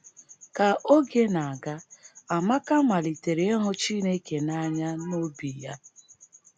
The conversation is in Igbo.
Ka oge na - aga, Amaka malitere ịhụ Chineke n’anya n’obi ya.